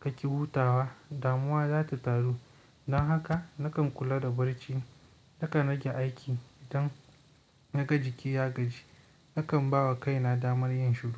kaki hutawa, damuwa za ta taru. Don haka nakan kula da barci. Nakan rage aiki idan naga jiki ya gaji. Nakan ba wa kaina damar yin shiru.